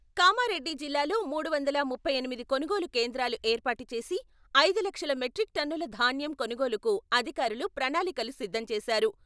కామారెడ్డి జిల్లాలో మూడువందల ముప్పై ఎనిమిది కొనుగోలు కేంద్రాలు ఏర్పాటు చేసి, ఐదు లక్షల మెట్రిక్ టన్నుల ధాన్యం కొనుగోలుకు అధికారులు ప్రణాళి కలు సిద్ధం చేశారు.